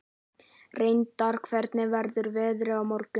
Reynar, hvernig verður veðrið á morgun?